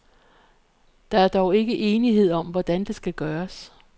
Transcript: Dog er der ikke enighed om, hvordan det skal gøres.